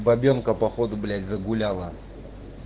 бабёнка походу блять загуляла